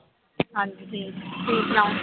ਹਾਂਜੀ ਠੀਕ ਤੁਸੀਂ ਸੁਣਾਓ